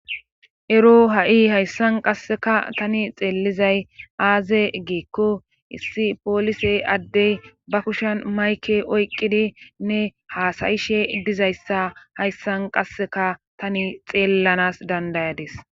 ero ha7i hayssan qasseka tani xeellizay aaze giikko issi poolisey addey ba kushan mayke oyqqidi nne haasayishe dizayssa hayssan qasseka tani xeellanas dandayades